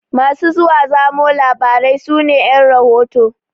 Masu zuwa zamo labarai su ne ƴan rahoto.